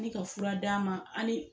N mi ka fura d'a ma ali